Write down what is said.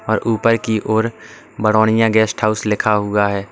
और ऊपर की ओर बडोनिया गेस्ट हाउस लिखा हुआ है।